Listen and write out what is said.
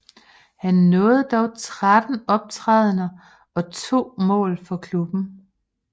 Han nåede dog 13 optrædener og 2 mål for klubben